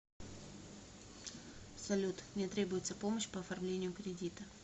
салют мне требуется помощь по оформлению кредита